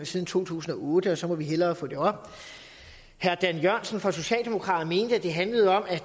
siden to tusind og otte og så må vi hellere få det op herre dan jørgensen fra socialdemokraterne mente at det handler om at